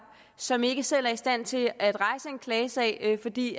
som ikke selv er i stand til at rejse en klagesag fordi